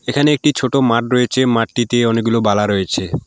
এখানে একটি ছোটো মাঠ রয়েছে মাঠটিতে অনেকগুলো বালা রয়েছে।